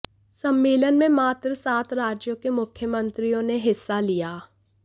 सम्मेलन में मात्र सात राज्यों के मुख्यमंत्रियों ने हिस्सा लिया